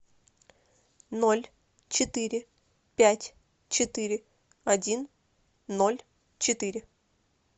ноль четыре пять четыре один ноль четыре